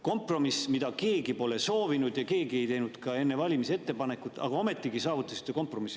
Kompromiss, mida keegi pole soovinud ja mille kohta keegi ei teinud ka enne valimisi ettepanekut, aga ometigi kompromiss saavutati.